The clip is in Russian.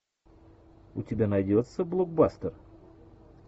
у тебя найдется блокбастер